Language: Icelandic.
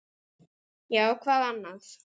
Já, hvað annað?